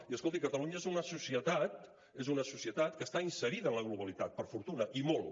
i escolti catalunya és una societat és una societat que està inserida en la globalitat per fortuna i molt